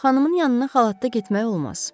Xanımın yanına xalatda getmək olmaz.